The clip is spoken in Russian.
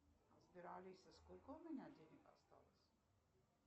сбер алиса сколько у меня денег осталось